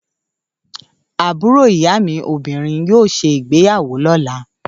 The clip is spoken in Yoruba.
Àbúrò ìyáàmi obìnrin yóò ṣe ìgbeyàwó lọ́la.